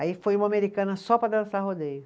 Aí foi uma americana só para dançar rodeio.